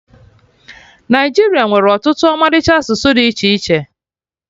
Naịjiria nwere ọtụtụ ọmalịcha asụsụ dị iche iche